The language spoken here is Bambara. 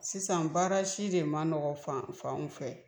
Sisan baara si de ma nɔgɔ fan fanw fɛ.